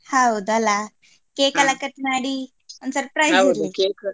ಹೌದಲ್ಲ cake ಎಲ್ಲ cut ಮಾಡಿ ಒಂದು surprise .